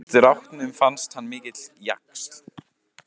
Strákunum fannst hann mikill jaxl.